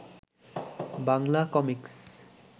Bangla comics